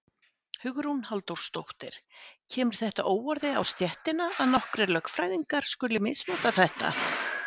Hugrún Halldórsdóttir: Kemur þetta óorði á stéttina að nokkrir lögfræðingar skuli misnota þetta?